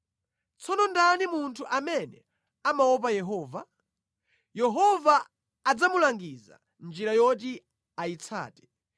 Tsono ndani munthu amene amaopa Yehova? Yehova adzamulangiza njira yoti ayitsate.